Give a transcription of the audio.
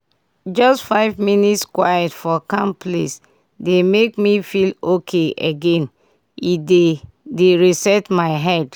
just five minute quiet for calm place dey make me feel okay again—e dey dey reset my head.